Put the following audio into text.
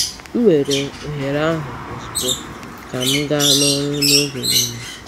M weere ohere ahụ ozugbo ka m gaa n’ọrụ oge niile.